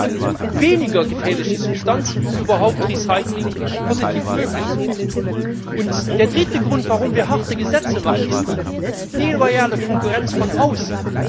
Wir brauchen weniger gefährliche Substanzen, um überhaupt Recycling positiv möglich zu machen. Der dritte Grund, warum wir harte Gesetze machen, ist die unlautere Konkurrenz von außen.